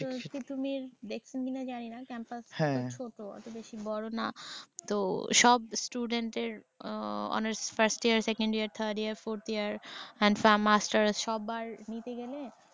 ত তিতুমির দেখসেন কিনা জানিনা হ্যাঁ ক্যাম্পাস ছোট অত বেশি বড় না তো সব student এর হম honours first year, second year, third year, fourth year and Masters' সবার নিতে গেলে